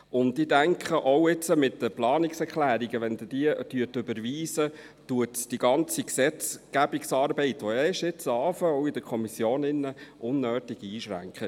Zudem denke ich auch, wenn Sie die Planungserklärungen überweisen, schränkt dies die ganze Gesetzgebungsarbeit, die ja erst jetzt beginnt, auch in der Kommission, unnötig ein.